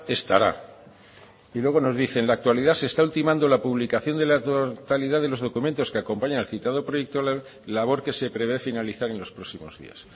estará y luego nos dice en la actualidad se está ultimando la publicación de la totalidad de los documentos que acompañan al citado proyecto de ley labor que se prevé finalizar en los próximos días